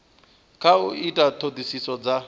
kha u ita ṱhoḓisiso dza